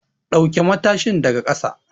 Ɗauke matashin daga ƙasa!